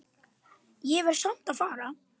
Ég verð samt að fara